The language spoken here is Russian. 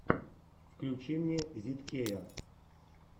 включи мне зидкея